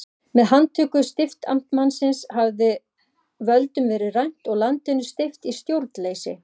Með handtöku stiftamtmannsins hafði völdum verið rænt og landinu steypt í stjórnleysi.